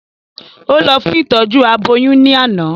Ó lọ fún ìtọ́jú aboyún ní àná